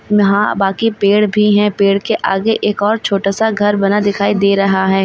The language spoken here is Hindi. यहां बाकी पेड़ भी हैं पेड़ के आगे एक और छोटा सा घर बना दिखाई दे रहा है।